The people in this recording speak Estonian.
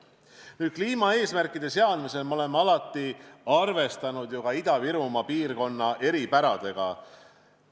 Kliimaeesmärkide seadmisel oleme alati arvestanud ka Ida-Virumaa piirkonna eripäradega.